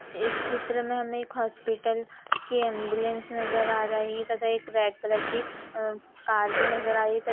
इस चित्र में हमें एक हॉस्पिटल की एम्बुलेंस नजर आ रही है तथा एक रेड कलर की अ कार भी नजर आ रही है तथा --